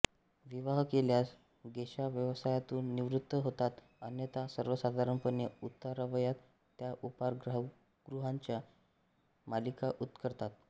विवाह केल्यास गेशा व्यवसायातून निवृत्त होतात अन्यथा सर्वसाधारणपणे उतारवयात त्या उपाहारगृहांची मालकी पत्करतात